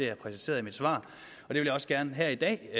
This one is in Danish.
har præciseret i mit svar og jeg vil også gerne her i dag